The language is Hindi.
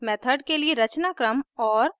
मेथड के लिए रचनाक्रम और